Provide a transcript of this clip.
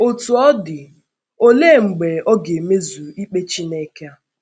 Otú ọ dị, olee mgbe a ga - emezu ikpe Chineke a?